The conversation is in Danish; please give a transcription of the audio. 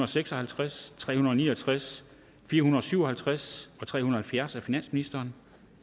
seks og halvtreds tre hundrede og ni og tres fire hundrede og syv og halvtreds og tre hundrede og halvfjerds af finansministeren